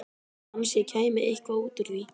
Kannski kæmi eitthvað út úr því.